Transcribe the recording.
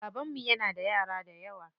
Babanmu yana da yara dayawa.